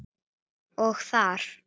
Og þegar